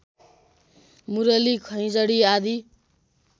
मुरली खैँजडी आदि